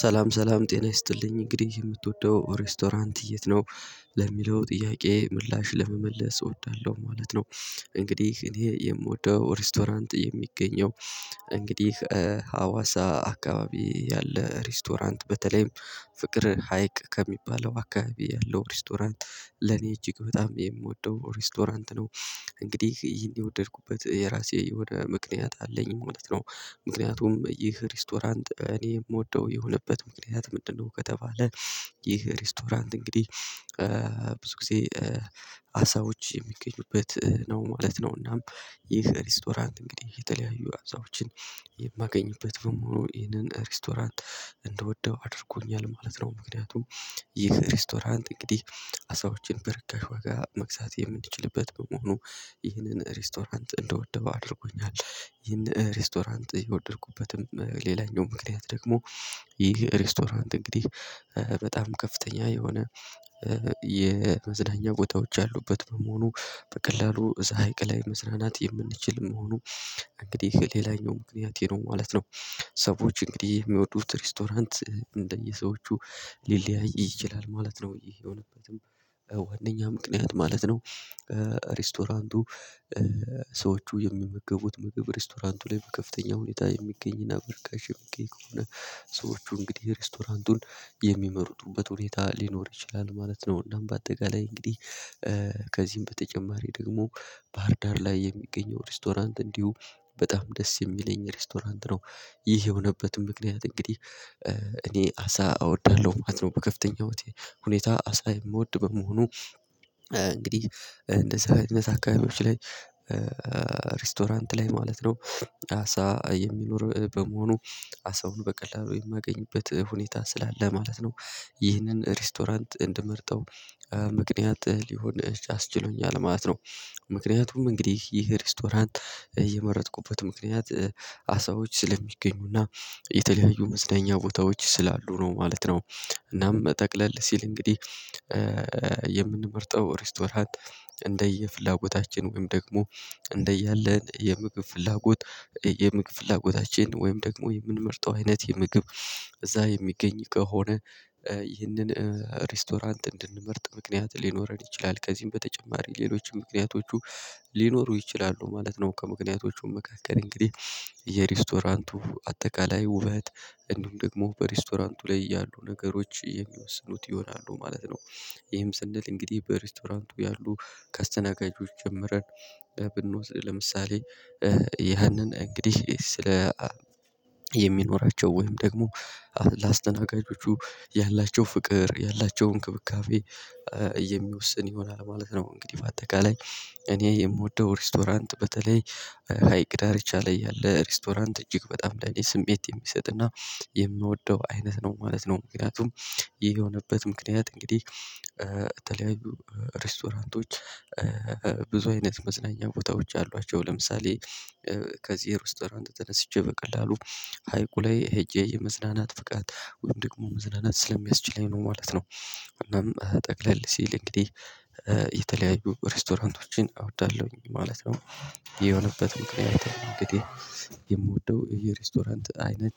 ሰላም ሰላም ጤና ይስጥልኝ እንግዲህ የምትወደው ሬስቶራንት የት ነው? ለሚለው ጥያቄ ምላሽ ለመመለስ እወዳለሁ ማለት ነው። እንግዲህ እኔ የምወደው ሬስቶራንት የሚገኘው እንግዲህ ሀዋሳ አካባቢ ያለ ሬስቶራንት በተለይም ፍቅር ሀይቅ ከሚባለው አካባቢ ያለው ሬስቶራንት ለኔ እጅግ በጣም የምወደው ሬስቶራንት ነው። እንግዲህ ይሄን የወደድኩበት የራሴ የሆነ ምክንያት አለኝ ማለት ነው። ምክንያቱም ይህ ሬስቶራንት እኔ የምወደው የሆነበት ምክንያት ምንድነው? ከተባለ ይህ ሬስቶራንት እንግዲህ ብዙ ጊዜ አሳዎች የሚገኙበት ነው ማለት ነው። እናም ይህ ሬስቶራንት እንግዲህ የተለያዩ አሳዎችን የማገኝበት ደግሞ ይህንን ሬስቶራንት እንድወደው አድርጎኛል ማለት ነው። ምክንያቱም ይህ ሬስቶራንት እንግዲህ አሳዎችን በርከሽ ዋጋ መግዛት የምንችልበት በመሆኑ ይህንን ሬስቶራንት እንድወደው አድርጎኛል። ይህን ሬስቶራንት የወደድኩበትም ሌላኛው ምክንያት ደግሞ ይህ ሬስቶራንት እንግዲህ በጣም ከፍተኛ የሆነ የመዝናኛ ቦታዎች አሉበት በመሆኑ በቀላሉ እዛ ሀይቅ ላይ መዝናናት የምንችል መሆኑ እንግዲህ ሌላኛው ምክንያት ይሄ ነው ማለት ነው። ሰዎች እንግዲህ የሚወዱት ሬስቶራንት እንደየሰዎቹ ሊለያይ ይችላል ማለት ነው። ይሄ የሆነበትም ዋናኛ ምክንያት ማለት ነው። ሬስቶራንቱ ሰዎቹ የሚመገቡት ምግብ ሬስቶራንቱ ላይ በከፍተኛ ሁኔታ የሚገኝና በርካሽ የሚገኝ ከሆነ ሰዎቹ እንግዲህ ሬስቶራንቱን የሚመርጡበት ሁኔታ ሊኖር ይችላል ማለት ነው። እናም በአጠቃላይ እንግዲህ ከዚህም በተጨማሪ ደግሞ ባህርዳር ላይ የሚገኘው ሬስቶራንት እንዲሁ በጣም ደስ የሚለኝ ሬስቶራንት ነው። ይሄ የሆነበትም ምክንያት እንግዲህ እኔ አሳ አወዳለሁ ማለት ነው። በከፍተኛው ሁኔታ አሳ የምወድ በመሆኑ እንግዲህ እንደዛ አይነት አካባቢዎች ላይ ሬስቶራንት ላይ ማለት ነው አሳ የሚኖር በመሆኑ አሳውን በቀላሉ የማገኝበት ሁኔታ ስላለ ማለት ነው። ይህንን ሬስቶራንት እንድመርጠው ምክንያት ሊሆን አስችሎኛል ማለት ነው። ምክንያቱም እንግዲህ ይህ ሬስቶራንት የመረጥኩበት ምክንያት አሳዎች ስለሚገኙና የተለያዩ መዝናኛ ቦታዎች ስላሉ ነው ማለት ነው። እናም ጠቅለል ሲል እንግዲህ የምንመርጠው ሬስቶራንት እንደየፍላጎታችን ወይም ደግሞ እንደያለን የምግብ ፍላጎት የምግብ ፍላጎታችን ወይም ደግሞ የምንመርጠው አይነት የምግብ እዛ የሚገኝ ከሆነ ይህንን ሬስቶራንት እንድንመርጥ ምክንያት ሊኖረን ይችላል ከዚህም በተጨማሪ ሌሎችም ምክንያቶቹ ሊኖሩ ይችላሉ ማለት ነው። ከምክንያቶቹ መካከል እንግዲህ የሬስቶራንቱ አጠቃላይ ውበት እንዲሁም ደግሞ በሬስቶራንቱ ላይ ያሉ ነገሮች የሚወስኑት ይሆናሉ ማለት ነው። ይሄም ስንል እንግዲህ በሬስቶራንቱ ያሉ ከአስተናጋጆች ጀምረን ብንወስድ ለምሳሌ ያንን እንግዲህ ስለ የሚኖራቸው ወይም ደግሞ ለአስተናጋጆቹ ያላቸው ፍቅር ያላቸው እንክብካቤ የሚወሰን ይሆናል ማለት ነው። እንግዲህ በአጠቃላይ እኔ የምወደው ሬስቶራንት በተለይ ሀይቅ ዳርቻ ላይ ያለ ሬስቶራንት እጅግ በጣም ለኔ ስሜት የሚሰጥና የምወደው አይነት ነው ማለት ነው። ምክንያቱም ይሄ የሆነበት ምክንያት እንግዲህ የተለያዩ ሬስቶራንቶች ብዙ አይነት መዝናኛ ቦታዎች አሏቸው ለምሳሌ ከዚህ ሬስቶራንት ተነስቼ በቀላሉ ሀይቁ ላይ ሄጄ የመዝናናት ብቃት ወይም ደግሞ መዝናናት ስለሚያስችለኝ ነው ማለት ነው። እናም ጠቅለል ሲል እንግዲህ የተለያዩ ሬስቶራንቶችን እወዳለሁኝ ማለት ነው። ይህ የሆነበት ምክንያት እንግዲህ የምወደው የሬስቶራንት አይነት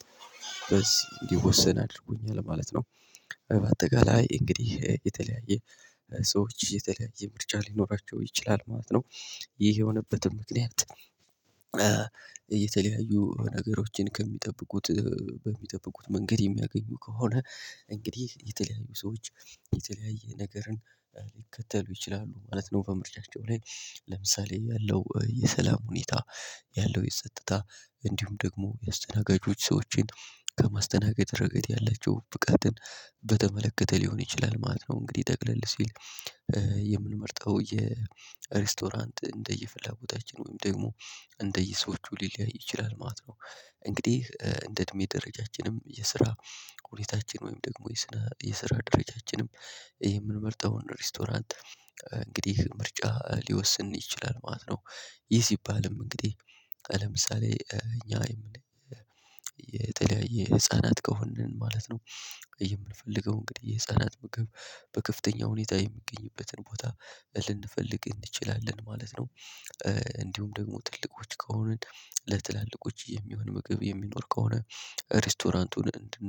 እንዲወሰን አድርጎኛል ማለት ነው። በአጠቃላይ እንግዲህ የተለያየ ሰዎች የተለያየ ምርጫ ሊኖራቸው ይችላል ማለት ነው። ይህ የሆነበትም ምክንያት የተለያዩ ነገሮችን ከሚጠብቁት በሚጠብቁት መንገድ የሚያገኙ ከሆነ እንግዲህ የተለያዩ ሰዎች የተለያየ ነገርን ሊከተሉ ይችላሉ ማለት ነው። በምርጫቸው ላይ ለምሳሌ ያለው የሰላም ሁኔታ ያለው የጸጥታ እንዲሁም ደግሞ የአስተናጋጆች ሰዎችን ከማስተናገድ ረገድ ያለችው ብቃትን በተመለከተ ሊሆን ይችላል ማለት ነው። እንግዲህ ጠቅለል ሲል የምንመርጠው የሬስቶራንት እንደየ ፍላጎታችን ወይም ደግሞ እንደየ ሰዎቹ ሊለያይ ይችላል ማለት ነው። እንግዲህ እንደ እድሜ ደረጃችንም የስራ ሁኔታችን ወይም ደግሞ የስራ ደረጃችንም የምንመርጠውን ሬስቶራንት እንግዲህ ምርጫ ሊወስን ይችላል ማለት ነው። ይህ ሲባልም እንግዲህ ለምሳሌ እኛ የተለያየ ህፃናት ከሆንን ማለት ነው የምንፈልገው እንግዲህ የህፃናት ምግብ በከፍተኛ ሁኔታ የሚገኝበትን ቦታ ልንፈልግ እንችላለን ማለት ነው። እንዲሁም ደግሞ ትልቆች ከሆንን ለትላልቆች የሚሆን ምግብ የሚኖር ከሆነ ሬስቶራንቱን እንትን